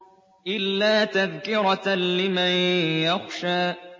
إِلَّا تَذْكِرَةً لِّمَن يَخْشَىٰ